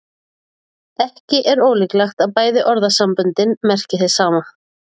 Ekki er ólíklegt að bæði orðasamböndin merki hið sama.